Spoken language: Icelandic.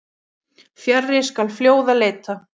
Fjarri skal fljóða leita.